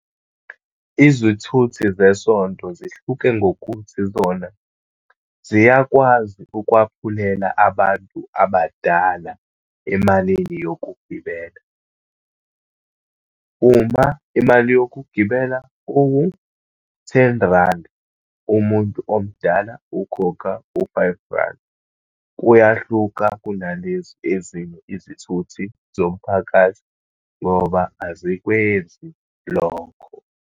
Izwithuthi zeSonto zihluke ngokuthi zona ziyakwazi ukwaphulela abantu abadala emalini yokugibela. Uma imali yokugibela kuwu-ten randi, umuntu omdala ukhokha u-five randi. Kuyahluka kunalezi ezinye izithuthi zomphakathi, ngoba azikwenzi lokho.